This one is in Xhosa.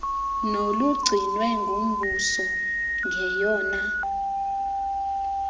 nolugcinwe ngumbuso ngeyona